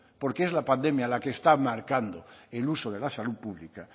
porque es la pandemia la que está marcando el uso de la salud pública